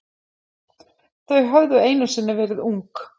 Þau höfðu einu sinni verið ung.